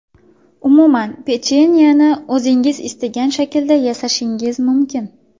Umuman, pechenyeni o‘zingiz istagan shaklda yasashingiz mumkin.